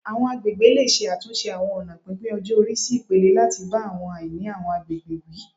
Àwọn agbègbè lè ṣe àtúnṣe àwọn ọ̀nà pínpín-ọjọ-ori sí ipele, láti bá àwọn àìní àwọn àgbègbè wí